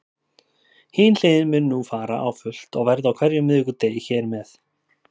Hin hliðin mun nú fara á fullt og verða á hverjum miðvikudegi hér með.